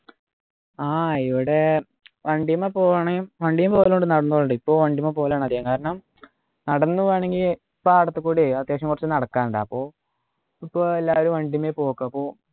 ആഹ് ഇവിടെ വണ്ടിമേ പോവൂ ആണെങ്കിൽ വണ്ടിലും പോകലുണ്ട് നടന്നും പോകലുണ്ട് ഇപ്പൊ വണ്ടിമ്മേ പോക്കലാണ് അധികം കാരണം നടന്നു പോകണെങ്കിൽ പാടത്തെ കൂടെ അത്യാവശ്യം കുറച്ചു നടക്കാനുണ്ട് അപ്പൊ അപ്പൊ എല്ലാരും വണ്ടിമ്മേ പോക്കാ അപ്പൊ